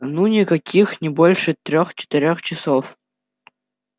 ну никаких не больше трёх-четырёх часов